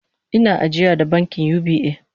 Ina ajiya da bankin UBA